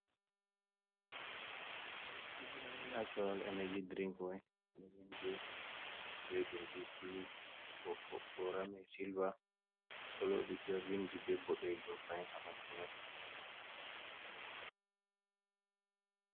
Natural energy drinkwai no vindi be bindi blu bo ko borami silver elod b vindi be boddejum fain habandu mai.